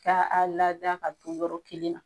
Taa a lada ka to yɔrɔ kelen